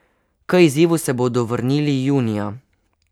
K izzivu se bodo vrnili junija.